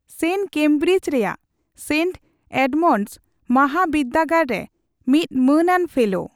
ᱥᱮᱱ ᱠᱮᱢᱵᱤᱨᱤᱡ ᱨᱮᱭᱟᱜ saint Edmund's ᱢᱟᱦᱟᱵᱤᱫᱽᱫᱟᱹᱜᱟᱲ ᱨᱮ ᱢᱤᱫ ᱢᱟᱹᱱᱟᱱ ᱯᱷᱮᱞᱳ ᱾